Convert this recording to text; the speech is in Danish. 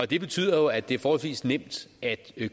det betyder jo at det er forholdsvis nemt at